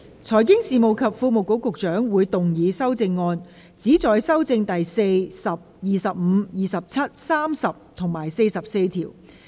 財經事務及庫務局局長會動議修正案，旨在修正第4、10、25、27、30及44條。